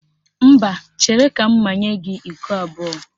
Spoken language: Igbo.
Mba, chere ka m manye gị iko abụọ